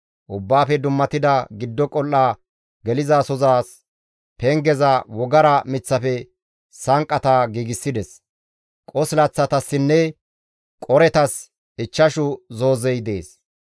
Ubbaafe dummatida giddo qol7a gelizasozas pengeza wogara miththafe sanqqata giigsides; qosilaththatassinne qoretas ichchashu zoozey dees.